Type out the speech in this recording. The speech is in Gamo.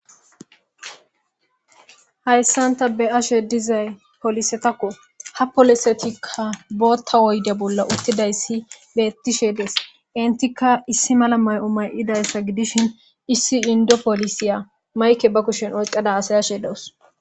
Hayssanta be ashe dizay polisetakko ha polosetikka bootta woyde bolla uttidayssi bettishedes intikka issi mala may'o may'idayssa gidishin issi indo polisiya mayke ba kushen ocqada asay ashe dawus.